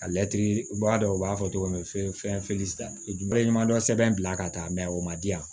A latiri u b'a dɔn u b'a fɔ cogo min fɛn ɲuman dɔ sɛbɛn bila ka taa o ma di yan